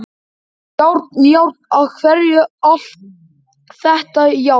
Járn, járn, af hverju allt þetta járn?